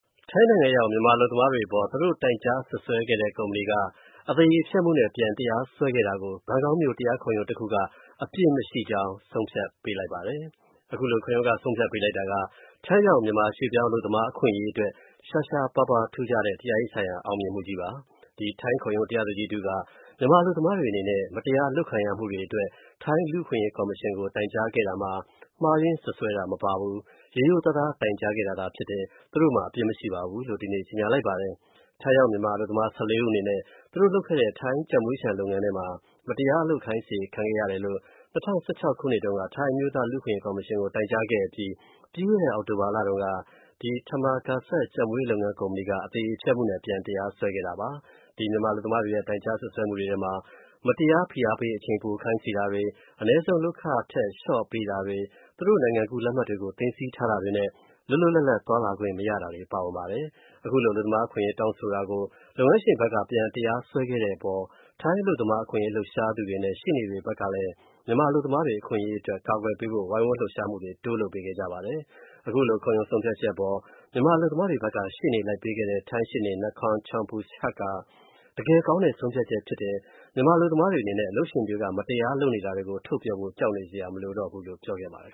ထိုင်းနိုင်ငံရောက် မြန်မာအလုပ်သမားတွေအပေါ် သူတို့ တိုင်ကြားစွပ်စွဲခဲ့တဲ့ ကုမ္ပဏီက အသရေဖျက်မှုနဲ့ ပြန်တရားစွဲခဲ့တာကို ဘန်ကောက်မြို. တရားခုံရုံးတစ်ခုက အပြစ်မရှိကြောင်းဆုံးဖြတ်ပေးလိုက်ပါတယ်။ ခုလို ခုံရုံးက ဆုံးဖြတ်ပေးလိုက်တာက ထိုင်းရောက်မြန်မာရွှေ.ပြောင်းအလုပ်သမား အခွင့်အရေးအတွက် ရှားရှားပါးပါး ထူးခြားတဲ့ တရားရေးဆိုင်ရာ အောင်မြင်မှုကြီးပါ။ ဒီထိုင်းခုံရုံး တရားသူကြီးတစ်ဦးက မြန်မာအလုပ်သမားတွေအနေနဲ့ မတရားလုပ်ခံရမှုတွေ အတွက် ထိုင်းလူ့အခွင့်အရေးကော်မရှင်ကို တိုင်ကြားခဲ့တာမှာ မှားယွင်းစွပ်စွဲတာမပါဘူး၊ ရိုးရိုးသားသား တိုင်ခဲ့တာဖြစ်တယ်၊ သူတို့မှာ အပြစ်မရှိဘူးလို့ဒီနေ့ကြေညာလိုက်ပါတယ်။ ထိုင်းရောက် မြန်မာအလုပ်သမား (၁၄) ဦး အနေနဲ့ သူတို့လုပ်ခဲ့တဲ့ ထိုင်းကြက်မွေးခြံ လုပ်ငန်းထဲမှာ မတရားအလုပ်ခိုင်းစေ ခံခဲ့ရတယ်လို့ ၂၀၁၆ ခုနှစ်တုန်းက ထိုင်းအမျိုးသားလူ့အခွင့်အရေးကော်မရှင် ကို တိုင်ကြားခဲ့အပြီးမှာ၊ပြီးခဲ့တဲ့ အောက်တိုဘာလတုန်း က ဒီ Thammakaset ကြက်မွေးလုပ်ငန်း ကုမ္ပဏီက အသရေဖျက်မှုနဲ့ ပြန်တရားစွဲခဲ့တာပါ။ ဒီမြန်မာအလုပ်သမားတွေရဲ့ တိုင်ကြားစွပ်စွဲမှုတွေထဲမှာ မတရားဖိအားပေး အချိန်ပို ခိုင်းစေတာတွေ၊ အနည်းဆုံးလုပ်ခငွေထက် လျော့ပေးတာတွေ၊ သူတို့ နိုင်ငံကူး လက်မှတ်တွေကို သိမ်းဆည်းထားတာတွေနဲ့ လွတ်လွတ်လပ်လပ် သွားလာခွင့်မရတာတွေ ပါဝင်ပါတယ်။ ခုလို အလုပ်သမားအခွင့်အရေးတောင်းဆိုတာကို လုပ်ငန်းရှင်ဖက်က ပြန်တရားစွဲခဲ့မှုအပေါ် ထိုင်း အလုပ်သမားအခွင့်အရေး လှုပ်ရှားသူနဲ့ရှေ.နေတွေ ဘက်ကလည်း မြန်မာအလုပ်သမားတွေ အခွင့်အရေးအတွက် ကာကွယ်ပေးဖို့ ဝိုင်းဝန်းလှုပ်ရှားမှုတွေ တိုးလုပ်ပေးခဲ့ပါတယ်။ ခုလို ခုံရုံးဆုံးဖြတ်ချက်အပေါ် မြန်မာအလုပ်သမားတွေဖက်က ရှေ.နေလိုက်ပေးတဲ့ ထိုင်းရှေ.နေ Nakhon Chompuchat က တကယ်ကောင်းတဲ့ ဆုံးဖြတ်ချက်ဖြစ်တယ်၊ မြန်မာအလုပ်သမားတွေအနေနဲ့ အလုပ်ရှင်တွေက မတရားလုပ်နေတာတွေကို ထုတ်ပြောဖို့ ကြောက်နေစရာမလိုတော့ဘူးလို့ ပြောခဲ့ပါတယ်